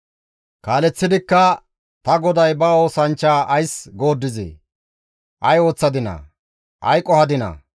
Kaaleththidikka, «Ta goday ba oosanchcha ays gooddizee? Ay ooththadinaa? Ay qohadinaa?